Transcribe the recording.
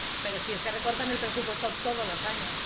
¡Pero si es que recortan el presupuesto todos los años!